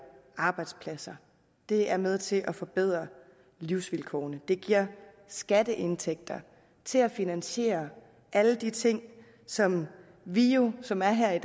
arbejdspladser det er med til at forbedre livsvilkårene det giver skatteindtægter til at finansiere alle de ting som vi jo som er her i